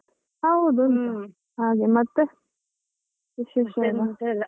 ಹಾಗೆ ಮತ್ತೆ .